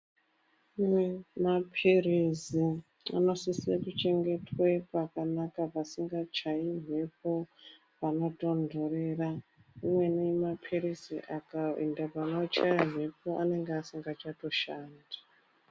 Kune mapirizi anosise kuchengetwa pakanaka pasingachayi mhepo, panotonhorera uyeni mapirizi akaenda panochaya mhepo anenge asingachatoshandi.